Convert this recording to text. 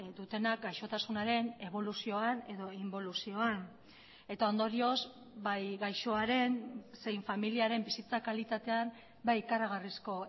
dutenak gaixotasunaren eboluzioan edo inboluzioan eta ondorioz bai gaixoaren zein familiaren bizitza kalitatean ikaragarrizko